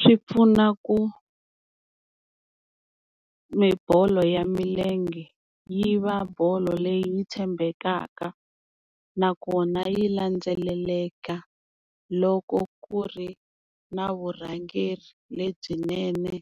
Swi pfuna ku mi bolo ya milenge yi va bolo leyi tshembekaka nakona yi landzeleleka loko ku ri na vurhangeri lebyinene